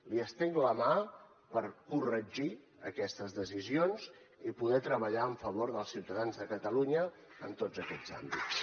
li estenc la mà per corregir aquestes decisions i poder treballar a favor dels ciutadans de catalunya en tots aquests àmbits